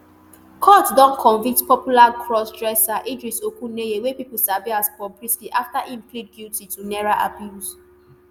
court don convict popular crossdresser idris okuneye wey pipo sabi as bobrisky afta im plead guilty to naira abuse